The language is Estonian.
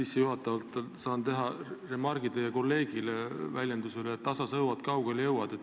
Sissejuhatavalt teen remargi teie kolleegi väljendile, et tasa sõuad, kaugele jõuad.